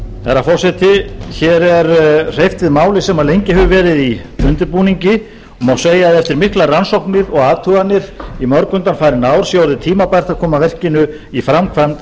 herra forseti hér er hreyft við máli sem hefur lengi verið í undirbúningi og má segja að eftir miklar rannsóknir og athuganir í mörg undanfarin ár sé orðið tímabært að koma verkinu í framkvæmd